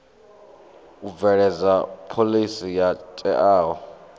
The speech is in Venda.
u bveledza phoḽisi yo teaho